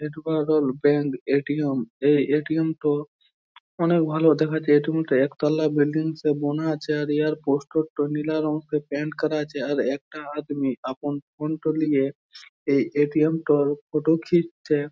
Bank ATM এই ATM -টো অনেক ভালো দেখাচ্ছে এ.টি.এম তা একতলা বিল্ডিং সে বোনা আছে । আর ইহার পোস্টোর -টো নীলা রং করা আছে ।আর একটা আদমি আপন ফোন -টো লিয়ে এই এ.টি.এম টোর ফটো খিঁচছে ।